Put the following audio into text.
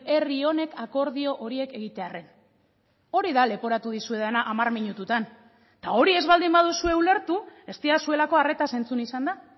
herri honek akordio horiek egitearren hori da leporatu dizuedana hamar minututan eta hori ez baldin baduzue ulertu ez didazuelako arretaz entzun izan da